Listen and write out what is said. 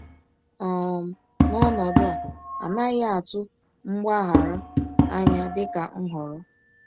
um N’ọnọdụ a, a naghị atụ mgbaghara anya dịka nhọrọ.